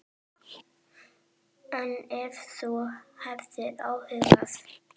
En ef þú hefur áhuga.